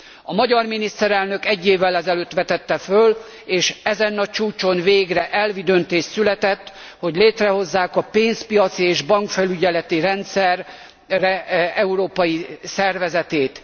A magyar miniszterelnök egy évvel ezelőtt vetette föl, és ezen a csúcson végre elvi döntés született arról, hogy létrehozzák a pénzpiaci és bankfelügyeleti rendszer európai szervezetét.